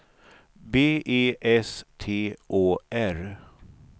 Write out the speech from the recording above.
B E S T Å R